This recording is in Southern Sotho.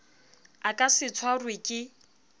a ka se tshwarwe ka